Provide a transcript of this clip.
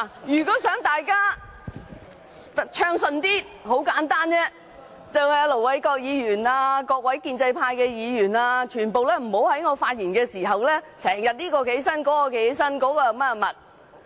如果大家想議會較為暢順，很簡單，就是請盧偉國議員和各位建制派議員不要在我發言時不時站起來發言，代